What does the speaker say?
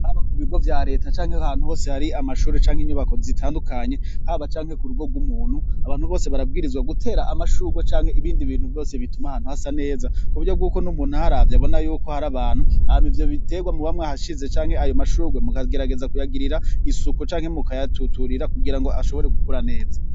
haba ku bigo vya leta canke ahantu hose hari amashuri canke inyubako zitandukanye haba canke ku rugo rw'umuntu abantu bose barabwirizwa gutera amashugwe canke ibindi bintu byose bituma ahantu hasa neza kuburyo bw'uko n'umuntu aharavye abona yuko hari abantu aha ivyo bitegwa muba mwahashize cyanke ayo mashurwe mu kagerageza kuyagirira isuku canke mukayatuturira kugira ngo ashobore gukura neza